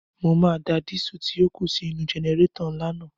Mo máa da dísù tí ó kù sí inú-u jẹnẹrétọ̀ ńlá naa